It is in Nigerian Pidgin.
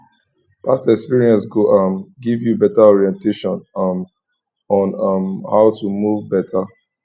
past experience go um giv yu beta orientation um on um how to move beta